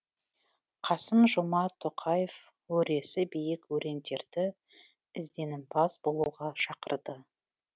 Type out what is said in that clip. қасым жомарт тоқаев өресі биік өрендерді ізденімпаз болуға шақырды